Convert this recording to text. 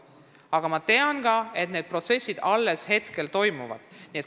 Aga ma tean, et protsess alles käib.